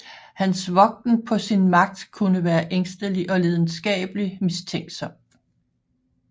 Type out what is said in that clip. Hans vogten på sin magt kunne være ængstelig og lidenskabelig mistænksom